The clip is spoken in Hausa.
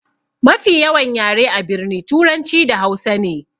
Mafi yawan yare a birni turanci da hausa ne.